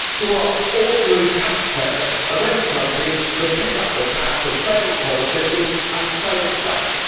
to ask ordinary taxpayers of any country to pick up the tab for failed politicians and failed banks.